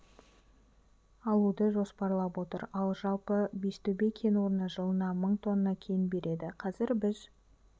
алуды жоспарлап отыр ал жалпы бестөбе кен орны жылына мың тонна кен береді қазір біз